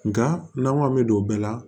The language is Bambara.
Nka n'an ko an bɛ don bɛɛ la